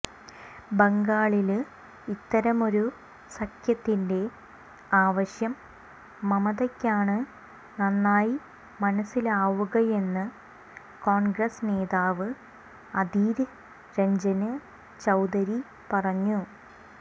ബംഗാളില് ഇത്തരമൊരു സഖ്യത്തിന്റെ ആവശ്യം മമതയ്ക്കാണ് നന്നായി മനസ്സിലാവുകയെന്ന് കോണ്ഗ്രസ് നേതാവ് അധീര് രഞ്ജന് ചൌധരി പറഞ്ഞു